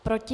Proti?